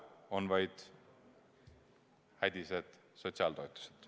On vaid hädised sotsiaaltoetused.